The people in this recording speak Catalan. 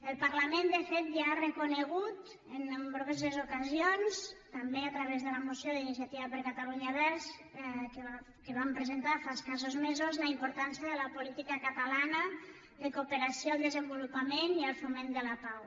el parlament de fet ja ha reconegut en nombroses ocasions també a través de la moció d’iniciativa per catalunya verds que vam presentar fa escassos mesos la importància de la política catalana de cooperació al desenvolupament i al foment de la pau